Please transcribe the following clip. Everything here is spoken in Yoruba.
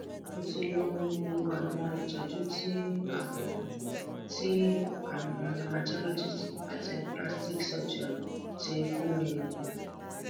mo ti lo gbogbo àwọn ìtọjú tí àwọn tí àwọn dermatologists àti plastic surgeons ti fún mi ní